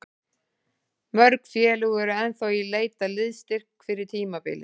Mörg félög eru ennþá í leit að liðsstyrk fyrir tímabilið.